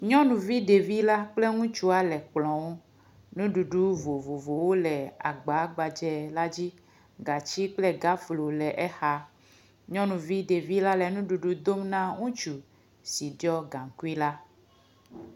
Nyɔnuvi ɖevi la kple ŋutsua le kplɔ̃ ŋu, nuɖuɖu vovovowo le agba gbadzɛ la dzi. Gatsi kple gaflo le exa, nyɔnuvi ɖevi la le nuɖuɖu dom na ŋutsu si ɖiɔ gaŋkui la.